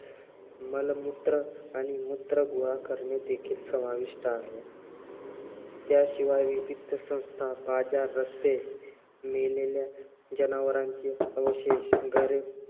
मलमूत्र आणि मूत्र गोळा करणे देखील समाविष्ट आहे. त्याशिवाय विविध संस्था, बाजार, रस्ते, मेलेल्या जनावराचे अवशेष, घरे